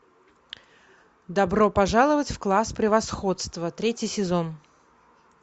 добро пожаловать в класс превосходства третий сезон